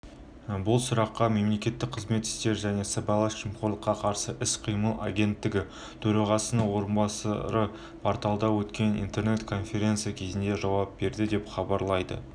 бұл сұраққа мемлекеттік қызмет істері және сыбайлас жемқорлыққа қарсы іс-қимыл агенттігі төрағасының орынбасары порталында өткен интернет-конференция кезінде жауап берді деп хабарлайды